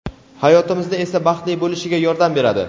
hayotimizni esa baxtli bo‘lishiga yordam beradi.